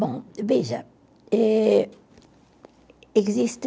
Bom, veja, ê existe